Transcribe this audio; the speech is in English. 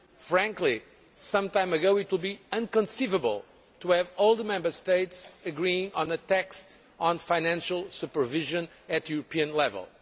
Frankly, some time ago, it would have been inconceivable to have all the Member States agreeing on a text on financial supervision at European level.